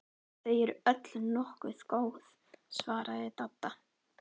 Þau eru öll nokkuð góð svaraði Dadda.